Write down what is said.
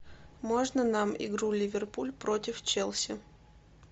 можно нам игру ливерпуль против челси